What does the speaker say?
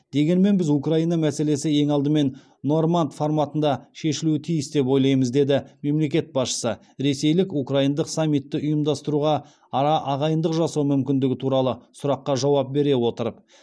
дегенмен біз украина мәселесі ең алдымен норманд форматында шешілуі тиіс деп ойлаймыз деді мемлекет басшысы ресейлік украиндық саммитті ұйымдастыруға арағайындық жасау мүмкіндігі туралы сұраққа жауап бере отырып